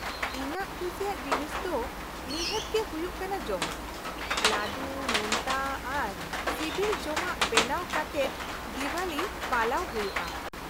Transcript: -ᱤᱧᱟᱹᱜ ᱠᱩᱥᱤᱭᱟᱜ ᱡᱤᱱᱤᱥ ᱫᱚ ᱱᱤᱦᱟᱹᱛ ᱜᱮ ᱦᱩᱭᱩᱜ ᱠᱟᱱᱟ ᱡᱚᱢᱟᱜ ᱾ ᱞᱟᱹᱰᱩ, ᱱᱳᱱᱛᱟ ᱟᱨ ᱥᱤᱵᱤᱞ ᱡᱚᱢᱟᱜ ᱵᱮᱱᱟᱣ ᱠᱟᱛᱮᱫ ᱫᱮᱣᱟᱞᱤ ᱯᱟᱞᱟᱣ ᱦᱩᱭᱩᱜᱼᱟ ᱾